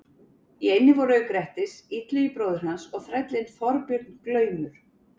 Í eynni voru auk Grettis, Illugi bróðir hans og þrællinn Þorbjörn glaumur.